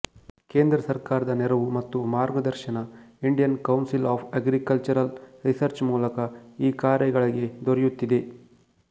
ಕೇಂದ್ರ ಸರ್ಕಾರದ ನೆರವು ಮತ್ತು ಮಾರ್ಗದರ್ಶನ Indian Council of Agricultural Research ಮೂಲಕ ಈ ಕಾರ್ಯಗಳಿಗೆ ದೊರೆಯುತ್ತಿದೆ